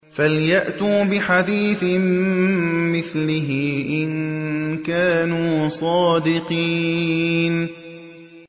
فَلْيَأْتُوا بِحَدِيثٍ مِّثْلِهِ إِن كَانُوا صَادِقِينَ